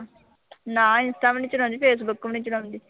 ਨਾ ਇੰਸਟਾ ਵੀ ਨੀਂ ਚਲਾਉਂਦੀ, ਫੇਸਬੁੱਕ ਵੀ ਨੀਂ ਚਲਾਉਂਦੀ।